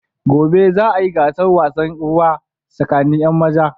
Gobe za a yi gasar wasan ruwa tsakanin 'yan maza.